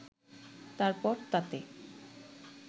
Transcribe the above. তারপর তাতে